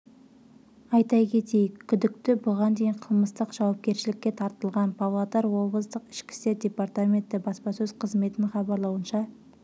айта кетейік күдікті бұған дейін қылмыстық жауапкершілікке тартылған павлодар облыстық ішкі істер департаменті баспасөз қызметінің хабарлауынша